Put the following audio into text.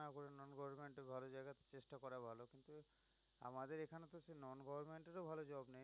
আমাদের এখানে তো সে non government এর ও ভাল job নেই।